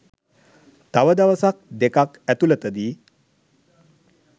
තව දවසක් දෙකක් ඇතුලතදී